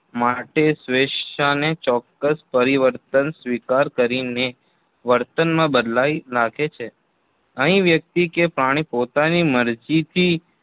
માટે સ્વેચ્છાને ચોક્કસ પરિવર્તન સ્વીકાર કરીને વર્તનમાં બદલાઈ નાખે છે. અહીં વ્યક્તિ કે પ્રાણી પોતાની મરજીથી